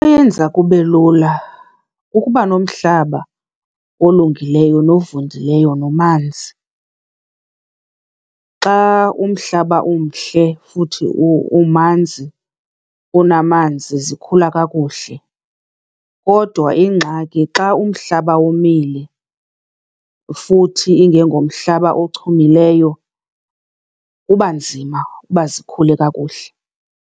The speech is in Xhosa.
Eyenza kube lula kukuba nomhlaba olungileyo novundileyo nomanzi. Xa umhlaba umhle, futhi umanzi, unamanzi, zikhula kakuhle. Kodwa ingxaki xa umhlaba womile futhi ingengomhlaba ochumileyo, kuba nzima uba zikhule kakuhle.